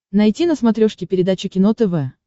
найти на смотрешке передачу кино тв